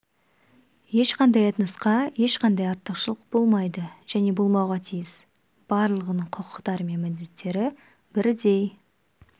ешқандай этносқа ешқандай артықшылық болмайды және болмауға тиіс барлығының құқықтары мен міндеттері бірдей